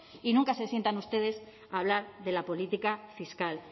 y nunca se sientan ustedes hablar de la política fiscal